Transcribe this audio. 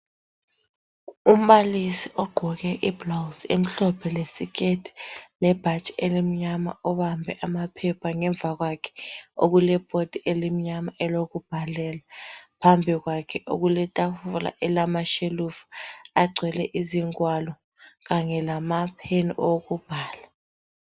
Umbalisi ogqoke ibhulawuzi emhlophe lesiketi lebhatshi elimnyama ubambe amaphepha ngemva kwakhe okulebhodi elimnyama elokubhalela phambi kwakhe okuletafula elamashelufu agcwele izingwalo kanye lamapheni okubhala.